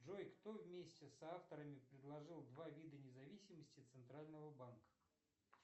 джой кто вместе с авторами предложил два вида независимости центрального банка